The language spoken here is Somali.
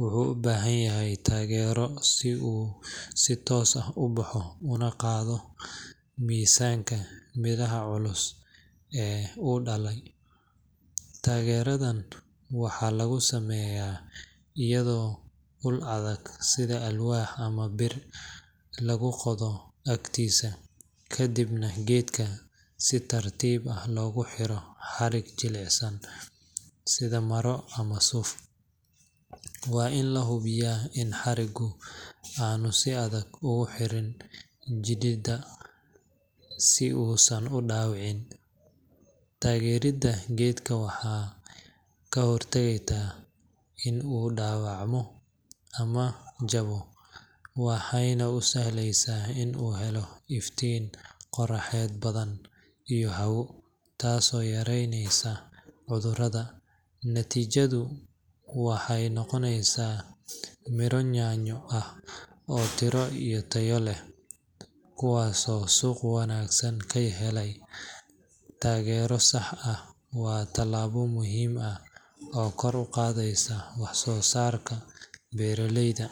wuxuu u baahan yahay taageero si uu si toosan u baxo una qaado miisaanka midhaha culus ee uu dhalayo. Taageeradan waxaa lagu sameeyaa iyadoo ul adag – sida alwaax ama bir lagu qodo agtiisa, kadibna geedka si tartiib ah loogu xiro xarig jilicsan sida maro ama suuf. Waa in la hubiyaa in xariggu aanu si adag ugu xirin jirridda, si uusan u dhaawicin. Taageeridda geedka waxay ka hortagtaa in uu dhaco ama jabto, waxayna u sahlaysaa in uu helo iftiin qorraxeed badan iyo hawo, taasoo yareynaysa cudurrada. Natiijadu waxay noqonaysaa miro yaanyo ah oo tiro iyo tayo leh, kuwaasoo suuq wanaagsan ka helaya. Taageero sax ah waa talaabo muhiim ah oo kor u qaadaysa wax-soo-saarka beeraleyda.